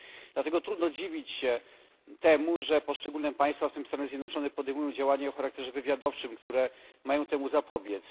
Dlatego trudno dziwić się temu, że poszczególne państwa, w tym Stany Zjednoczone, podejmują działania o charakterze wywiadowczym, które mają temu zapobiec.